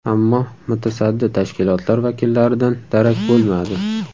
Ammo mutasaddi tashkilotlar vakillaridan darak bo‘lmadi.